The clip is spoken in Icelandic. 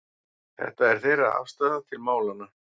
Þetta er þeirra afstaða til málanna